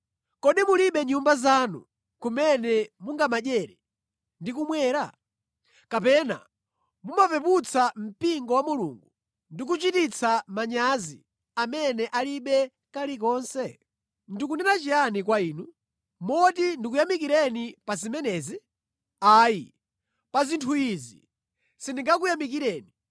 Kodi mulibe nyumba zanu kumene mungamadyere ndi kumwa? Kapena mumapeputsa mpingo wa Mulungu ndi kuchititsa manyazi amene alibe kalikonse? Ndikunena chiyani kwa inu? Moti ndikuyamikireni pa zimenezi? Ayi, pa zinthu izi sindingakuyamikireni.